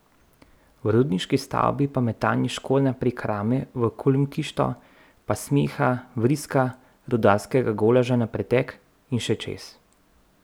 V rudniški stavbi pa metanje škornja prek rame v kulmkišto, pa smeha, vriska, rudarskega golaža na pretek in še čez.